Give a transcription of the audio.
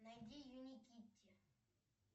найди юникитти